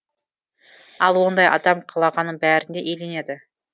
ал ондай адам қалағанның бәріне иеленеді